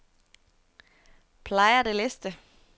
Playa del Este